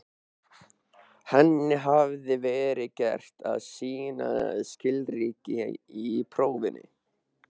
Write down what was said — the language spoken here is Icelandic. Henni hafði verið gert að sýna skilríki í prófinu.